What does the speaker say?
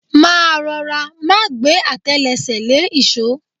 Máa rọra, má gbẹ́ àtẹlẹsẹ̀ lé ìṣó.